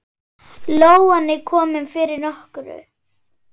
Lóan er komin fyrir nokkru.